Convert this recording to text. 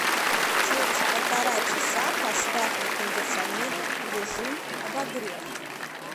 через полтора часа поставь на кондиционере в режим обогрев